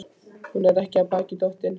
Hún er ekki af baki dottin.